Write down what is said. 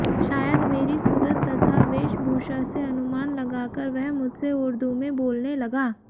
शायद मेरी सूरत तथा वेशभूषा से अनुमान लगाकर वह मुझसे उर्दू में बोलने लगा